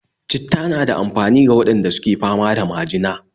Citta na da amfani ga waɗanda suke fama da majina